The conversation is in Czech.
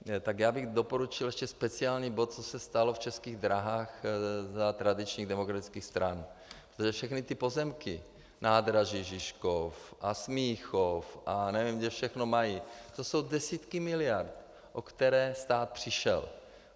Tak já bych doporučil ještě speciální bod, co se stalo v Českých dráhách za tradičních demokratických stran, protože všechny ty pozemky, nádraží Žižkov a Smíchov, a nevím, kde všechno mají, to jsou desítky miliard, o které stát přišel.